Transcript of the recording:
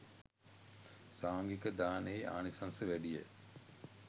සාංඝික දානයෙහි ආනිශංස වැඩි ය